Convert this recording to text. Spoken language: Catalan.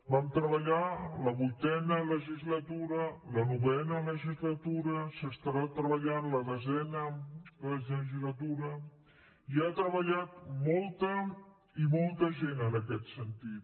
vam treballar la vuitena legislatura la novena legislatura s’estarà treballant la desena legislatura hi ha treballat molta i molta gent en aquest sentit